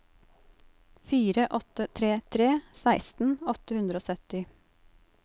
fire åtte tre tre seksten åtte hundre og sytti